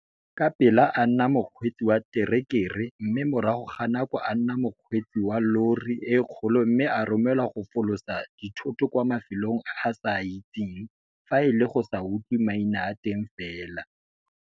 Ka pela a nna mokgweetsi wa terekere mme morago ga nako a nna mokgweetsi wa llori e kgolo mme a romelwa go folosa dithoto kwa mafelong a a sa a itseng fa e le go sa utlwe maina a teng fela.